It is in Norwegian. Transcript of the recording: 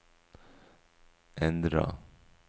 endra